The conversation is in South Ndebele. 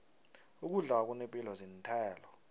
ukudla okunepilo zinthelo